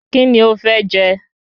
Kíni o fẹ́ jẹ?